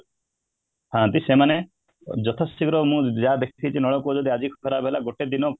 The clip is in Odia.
ଥାନ୍ତି ସେମାନେ ଯେତେଶୀଘ୍ର ମୁଁ ୟା ଦେଖିଛି ନଳକୂପ ଯଦି ଆଜି ଖରାପ ହେଲା ଗୋଟେ ଦିନ